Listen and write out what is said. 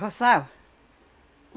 Roçava.